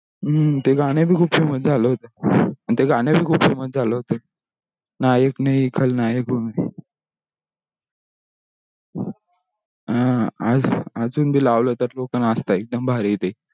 हम्म ते गाना बी खूप famous खयाल होता नायक नाही खलनायक हू मे